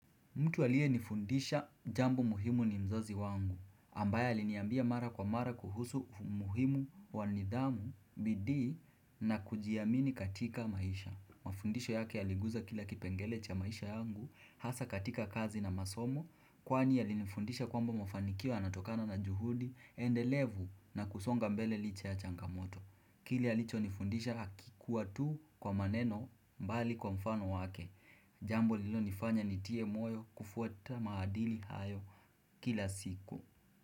Mtu aliyenifundisha jambo muhimu ni mzazi wangu, ambaye aliniambia mara kwa mara kuhusu umuhimu wa nidhamu bidii na kujiamini katika maisha Mafundisho yake yaliguza kila kipengele cha maisha yangu hasa katika kazi na masomo kwani yalinifundisha kwamba mafanikio yanatokana na juhudi endelevu na kusonga mbele licha ya changamoto Kile alicho nifundisha akikuwa tu kwa maneno mbali kwa mfano wake Jambo lilonifanya nitie moyo kufuata mahadili hayo kila siku.